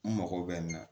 N mago bɛ n na